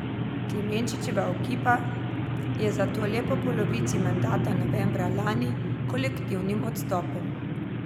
Klemenčičeva ekipa je zato le po polovici mandata novembra lani kolektivnim odstopom.